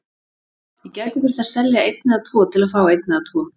Ég gæti þurft að selja einn eða tvo til að fá einn eða tvo.